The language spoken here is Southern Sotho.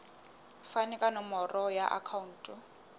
fane ka nomoro ya akhauntu